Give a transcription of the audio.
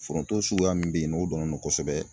Foronto suguya min bɛ yen n'o dɔnnen do kosɛbɛ.